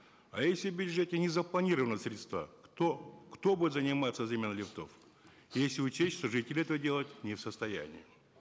а если в бюджете не запланированы средства кто кто будет заниматься заменой лифтов если учесть что жители этого делать не в состоянии